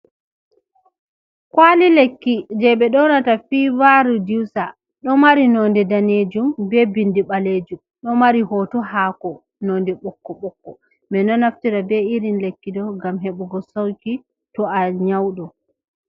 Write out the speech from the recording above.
Kwaali lekki, je ɓe njoonata fii-vaa-riduusa, ɗo mari noonde daneejum, be bindi ɓaleejum, ɗo mari hooto haako nonde ɓokko-ɓokko. Ɓe ɗo naftira be irin lekki ɗo ngam heɓugo sawqi, to a nyawɗo.